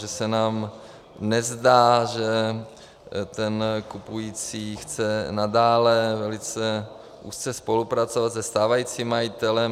Že se nám nezdá, že ten kupující chce nadále velice úzce spolupracovat se stávajícím majitelem.